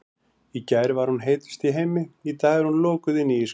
Í gær var hún heitust í heimi, í dag er hún lokuð inni í ísskáp.